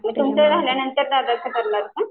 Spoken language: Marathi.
तुमचं झाल्यानंतर दादाचं करणार का?